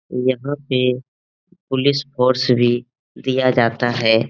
यहां पे police force भी दिया जाता है।